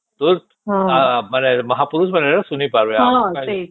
ତୋର ମାନେ ମହାପୁରୁଷ ମାନେ ଶୁଣି ପାରିବେ ଆମେ